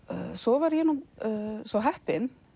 svo var ég svo heppin